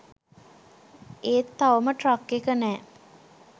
ඒත් තවම ට්‍රක් එක නෑ.